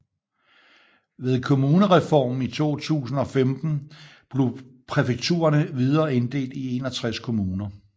Ved kommunereformen i 2015 blev præfekturene videre inddelt i 61 kommuner